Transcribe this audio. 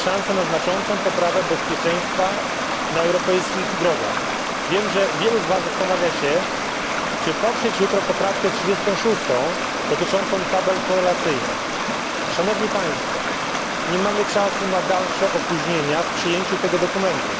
Mamy szansę na znaczącą poprawę bezpieczeństwa na europejskich drogach. Wiem, że wielu z Was zastanawia się, czy poprzeć jutro poprawkę 36 dotyczącą tabel korelacyjnych. Szanowni Państwo! Nie mamy czasu na dalsze opóźnienia w przyjęciu tego dokumentu.